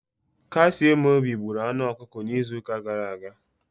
Kasiemobi gburu anụ ọkụkọ n'izu ụka gara aga.